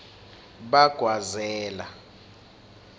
bagwazela